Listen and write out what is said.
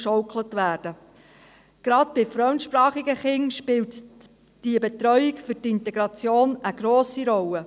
Gerade bei fremdsprachigen Kindern spielt die Betreuung für die Integration eine grosse Rolle.